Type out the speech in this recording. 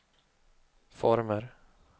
former